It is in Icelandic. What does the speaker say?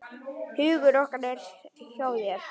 Hugur okkar er hjá þér.